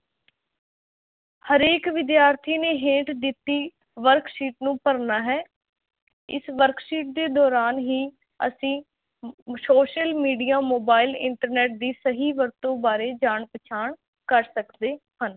ਹਰੇਕ ਵਿਦਿਆਰਥੀ ਨੇ ਹੇਠ ਦਿੱਤੀ worksheet ਨੂੰ ਭਰਨਾ ਹੈ, ਇਸ worksheet ਦੇ ਦੌਰਾਨ ਹੀ ਅਸੀਂ ਅਮ social media, mobile, internet ਦੀ ਸਹੀ ਵਰਤੋਂ ਬਾਰੇ ਜਾਣ ਪਛਾਣ ਕਰ ਸਕਦੇ ਹਨ।